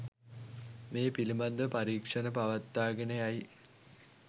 මේ පිළිබඳව පරීක්‌ෂණ පවත්වාගෙන යයි